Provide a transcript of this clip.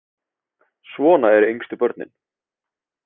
Svona eru yngstu börnin.